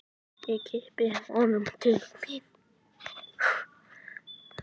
Ég kippi honum til mín.